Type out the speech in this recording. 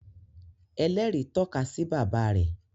ẹlẹri tọka sí bàbá rẹ